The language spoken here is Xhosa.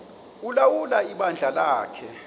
ulawula ibandla lakhe